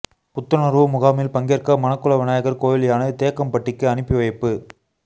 புத்துணர்வு முகாமில் பங்கேற்க மணக்குள விநாயகர் கோயில் யானை தேக்கம்பட்டிக்கு அனுப்பி வைப்பு